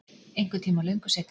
Einhvern tíma löngu seinna.